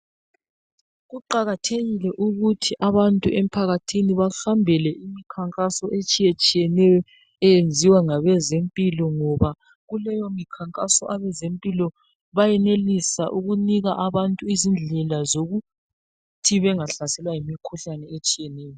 Kuqakathekile ukuthi abantu emphakathini behambele imikhankaso etshiye tshiyeneyo eyenziwa ngabeze mpilo ngoba kuleyo mikhankaso abezempilo bayenelisa ukunika abantu indlela zokuthi benga hlaselwa yimikhuhlane nje.